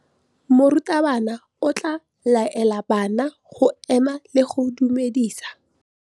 Maphodisa a tshwere Boipelo ka tatofatsô ya polaô.